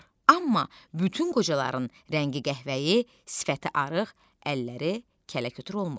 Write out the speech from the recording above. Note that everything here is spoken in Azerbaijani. Amma bütün qocaların rəngi qəhvəyi, sifəti arıq, əlləri kələkötür olmur.